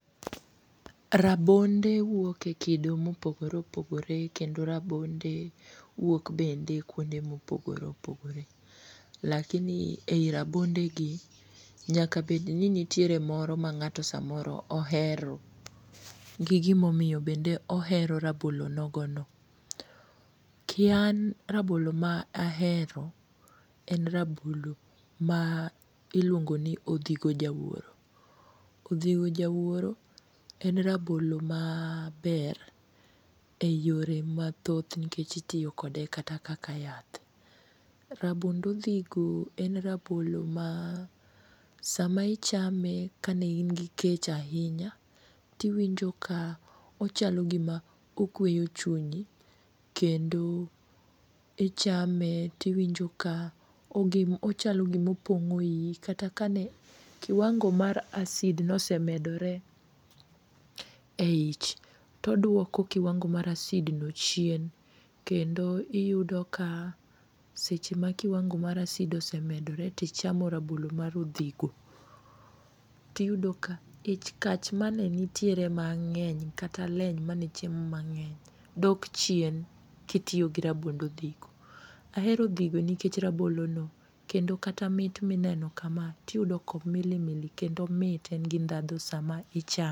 Rabonde wuok e kido mopogore opogore kendo rabonde wuok bende kuonde mopogore opogore. Lakini ei rabondegi nyaka bedni nitiere moro ma ng'ato samoro ohero gi gimo mio bendo ohero rabolo nogono. Ki an rabolo ma ahero en rabolo ma iluongoni odhigo jawuoro. Odhigo jawuoro en rabolo maber e yore mathoth nikech itio kode kata kaka yath. Rabond odhigo en rabolo ma sama ichame ka ne in gi kech ainya, tiwinjo ka ochalo gima okweyo chunyi kendo ichame tiwinjo ka ochalo gima opong'o iii kata ka ne kiwango mar acid nosemedore eich toduoko kiwango mar acid no chien kendo iyudo ka seche ma kiwango mar acid osemedore tichamo rabolo mar odhigo, tiyudo ka ich kach mane nitiere mang'eny kata leny mane chiemo mang'eny dok chien kitiyo gi rabond odhigo. Ahero odhigo nikech rabolono kendo kata mit mineno kama tiyudo komilimili kendo omit en gi ndhadho sama ichame[um].